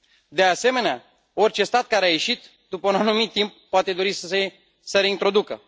De asemenea, orice stat care a ieșit, după un anumit timp, poate dori să se reintroducă.